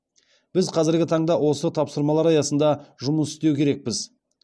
біз қазіргі таңда осы тапсырмалар аясында жұмыс істеу керекпіз